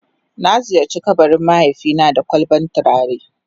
Na ziyarce kabarin mahaifi na da kwalban tulare.